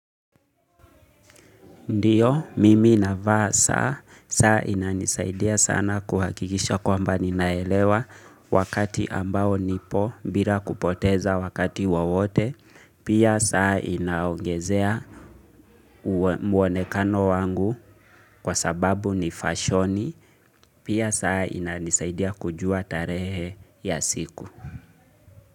Ndiyo, mimi navaa saa, saa inanisaidia sana kuhakikisha kwamba ninaelewa wakati ambao nipo bila kupoteza wakati wowote, pia saa inaongezea muonekano wangu kwa sababu ni fashoni, pia saa inanisaidia kujua tarehe ya siku.